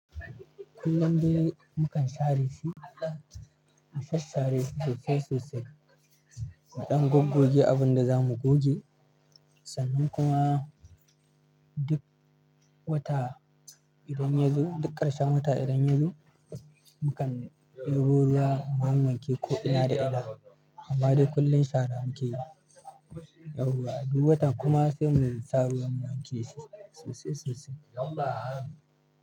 Kullum dai mukan share shi, mu shashare sosai-sosai, mu ɗan goggoje abin da za mu goge, sannan kuma duk wata idan yazo, duk ƙarshen wata idan yazo, mukan ɗebo ruwa mu wanke ko ina da ina. Amma dai kullum shara muke yi, yauwa duk wata kuma sai mu sa ruwan mu wake shi sosai-sosai.